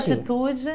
atitude.